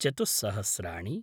चतुः सहस्राणि